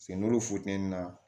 Se n'olu funteni na